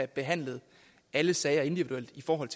behandlet alle sager individuelt i forhold